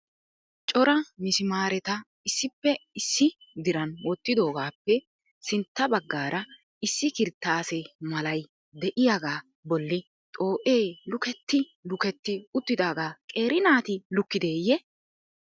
Cora mismaareta issippe issi diran wottidoogappe sintta baggaara issi kirttaase malay de'iyaaga bolli xoo'ee lukketti lukketti uttidaaga qeeri naati lukkideyye?